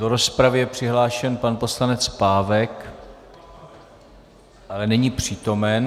Do rozpravy je přihlášen pan poslanec Pávek, ale není přítomen.